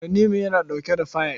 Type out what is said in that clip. Tanimu yana ɗauke da fayil.